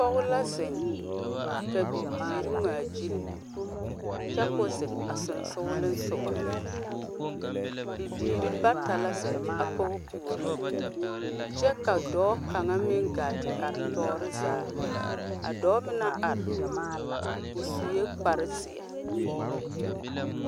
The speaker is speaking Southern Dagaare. Ghana lɔmaalba naŋ be a gɔvemɛnte lombore na la kaa ba wedeɛrɛ a yele yɛllɛ kyɛ ka a ba naŋ na zaa naŋ e a potuurebo a zeŋ kyɛ kyɛllɛ.